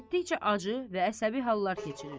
Getdikcə acı və əsəbi hallar keçirir.